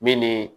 Min ni